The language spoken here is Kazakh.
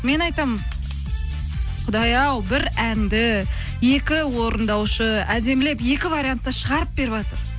мен айтамын құдай ау бір әнді екі орындаушы әдемілеп екі вариантта шығарып беріватыр